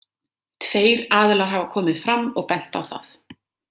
Tveir aðilar hafa komið fram og bent á það.